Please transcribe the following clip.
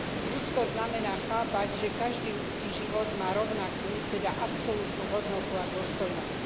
Ľudskosť znamená chápať, že každý ľudský život má rovnakú, teda absolútnu hodnotu a dôstojnosť.